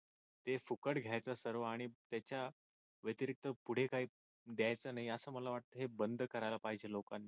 हे फुकट घ्यायच सर्व आणि त्याच्या व्यतिरिक्त पुढे काही द्यायच नाही असं मला वाटत हे सर्व बंद करायला पाहिजे लोकांनी.